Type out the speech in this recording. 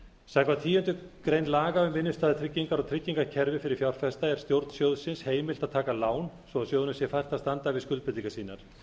samkvæmt tíundu grein laga um innstæðutryggingar og tryggingakerfi fyrir fjárfesta er stjórn sjóðsins heimilt að taka lán svo að sjóðnum sé fært að standa við skuldbindingar sínar